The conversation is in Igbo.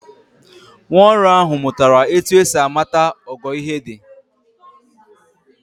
Nwaọrụ ahụ mụtara etu esi amata ogo ihe dị.